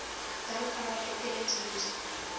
gunpowder propellant used